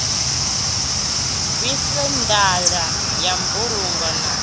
bviswe ndaela ya mbulungo na